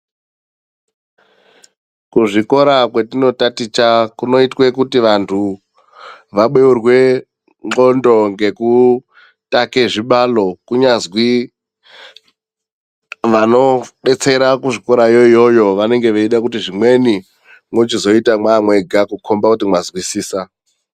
Kuzvikora kwetinotaticha kunoitwe kuti vantu vabeurwe ndxondo ngekutake zvibalo kunyazwi vanodetsera kuzvikorayo iyoyo vanenge veida kuti zvimweni mwochizoita mwamwega kukomba kuti mwazwisisa.